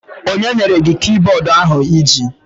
Onye nyere gị kibọọdụ ahụ iji?